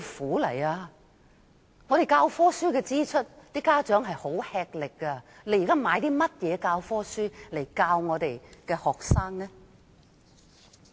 家長要承擔教科書的支出，已十分吃力。現在買甚麼教科書來教學生？